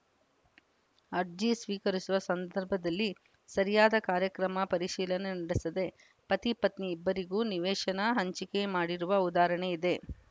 ಅರ್ಜಿ ಸ್ವೀಕರಿಸುವ ಸಂದರ್ಭದಲ್ಲಿ ಸರಿಯಾದ ಕಾರ್ಯಕ್ರಮ ಪರಿಶೀಲನೆ ನಡೆಸದೆ ಪತಿ ಪತ್ನಿ ಇಬ್ಬರಿಗೂ ನಿವೇಶನ ಹಂಚಿಕೆ ಮಾಡಿರುವ ಉದಾಹರಣೆ ಇದೆ